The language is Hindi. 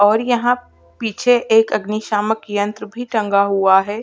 और यहाँ पीछे एक अग्नि सामक यंत्र भी टंगा हुआ है।